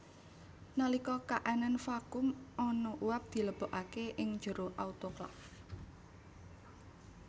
Nalika kaanan vakum ana uap dilebokake ing jero autoklaf